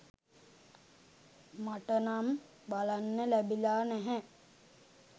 මටනම් බලන්න ලැබිලා නැහැ.